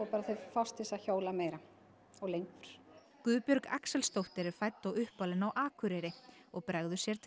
þau fást til að hjóla meira og lengur Guðbjörg Axelsdóttir er fædd og uppalin á Akureyri og bregður sér til